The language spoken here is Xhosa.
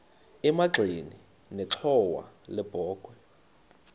emagxeni nenxhowa yebokhwe